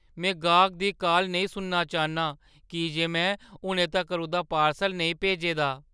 में गाह्‌कै दी काल नेईं सुनना चाह्‌न्नां की जे में हुनै तक्कर उंʼदा पार्सल नेईं भेजे दा ।